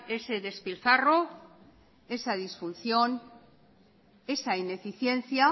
ese despilfarro esa disfunción esa ineficiencia